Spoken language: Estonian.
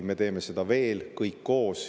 Me teeme seda veel, kõik koos.